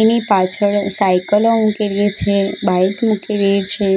એની પાછળ સાયકલ ઑ મુકેલી છે બાઇક મુકેલી છે